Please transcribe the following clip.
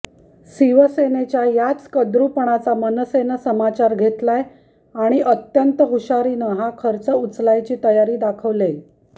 शिवसेनेच्या याच कद्रूपणाचा मनसेनं समाचार घेतलाय आणि अत्यंत हुशारीनं हा खर्च उचलायची तयारी दाखवलेय